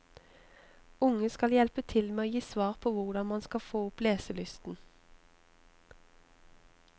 Unge skal hjelpe til med å gi svar på hvordan man skal få opp leselysten.